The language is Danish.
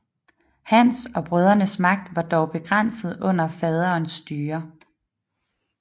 Hans og brødrenes magt var dog begrænset under faderens styre